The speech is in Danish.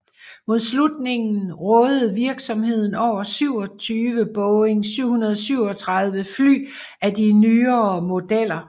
Mod slutningen rådede virksomheden over 27 Boeing 737 fly af de nyere modeller